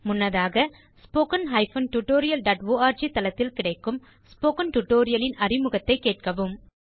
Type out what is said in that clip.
முன்னதாக httpwwwspoken tutorialorg தளத்தில் கிடைக்கும் ஸ்போக்கன் டியூட்டோரியல் இன் அறிமுகத்தைக் கேட்கவும்